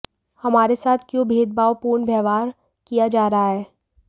हमारे साथ क्यों भेदभाव पूर्ण व्यवहार किया जा रहा है